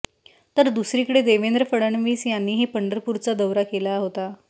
तर दुसरीकडे देवेंद्र फडणवीस यांनीही पंढरपुरचा दौरा केला होता